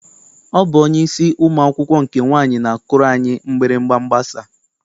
Ọ bụ onyeisi ụmụ akwụkwọ nke nwaanyị na-akụrụ anyị mgbịrịgba mgbasa.